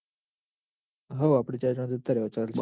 હમ આપડે ચાર જણા જતા રેવાય ચાલી જાય